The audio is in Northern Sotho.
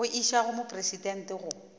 go išwa go mopresidente go